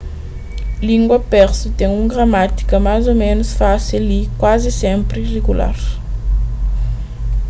língua persu ten un gramátika más ô ménus fásil y kuazi sénpri rigular